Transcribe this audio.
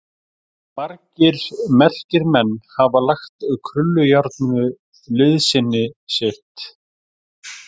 Margir merkir menn hafa lagt krullujárninu liðsinni sitt.